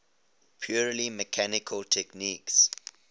purely mechanical techniques